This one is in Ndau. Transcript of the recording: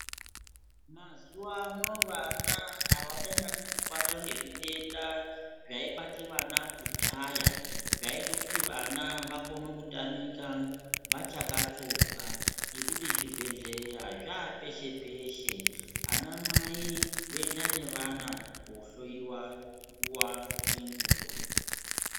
Mazuwa ano vana havachanyanyi kubatwa ngezvitenda zvaibate vana kudhaya zvaiite kuti vana vakone kutamika vachakatsonga, ngekuti zvibhehleya zvapeshe peshe ,anamai voenda nevana kohloyiwa nguwa nenguwa